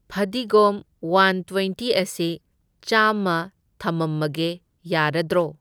ꯐꯗꯤꯒꯣꯝ one twenty ꯑꯁꯤ ꯆꯥꯝꯃ ꯊꯃꯝꯃꯒꯦ ꯌꯥꯔꯗ꯭ꯔꯣ?